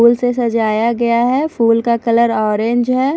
फूल से सजाया गया है फूल का कलर ऑरेंज है।